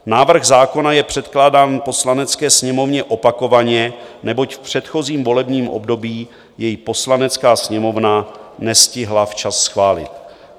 Návrh zákona je předkládán Poslanecké sněmovně opakovaně, neboť v předchozím volebním období jej Poslanecká sněmovna nestihla včas schválit.